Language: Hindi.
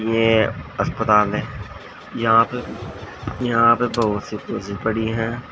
ये अस्पताल है यहां पे यहां पे बहुत सी कुर्सी पड़ी हैं।